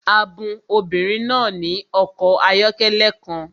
A bun obìnrin náà ní ọkọ̀ ayọ́kẹ́lẹ́ kan